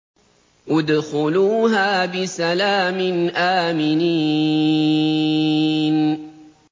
ادْخُلُوهَا بِسَلَامٍ آمِنِينَ